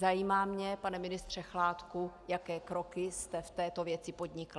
Zajímá mě, pane ministře Chládku, jaké kroky jste v této věci podnikl.